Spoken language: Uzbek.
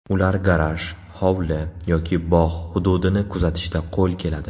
Ular garaj, hovli yoki bog‘ hududini kuzatishda qo‘l keladi.